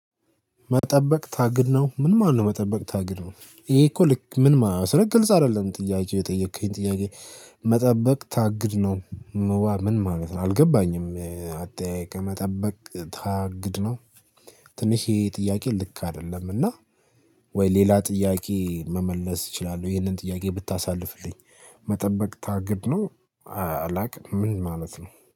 መጠበቅ ታግድ ነው ምን ማነው መጠበቅ ታግድ ነው ይሄ እኮ ልክ ምንማ ስልክ ግልጽ አይደለም ጥያቄው የጠየከኝ ጥያቄ። መጠበቅ ታግድ ነው። ምን ማለት ነው አልገባኝም አጠያየቅህ መጠበቅ ታግድ ነው። ትንሽ ይሄ ጥያቄ ልክ አይደለም እና ወይ ሌላ ጥያቄ መመለስ እችላለሁ ይሄንን ጥያቄ ብታሳልፍልኝ። መጠበቅ ታግድ ነው። አላውቅም ምን ማለት ነው